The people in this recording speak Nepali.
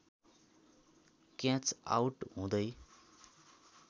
catch out हुदै